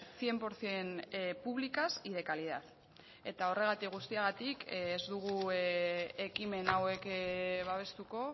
cien por ciento públicas y de calidad eta horregatik guztiagatik ez dugu ekimen hauek babestuko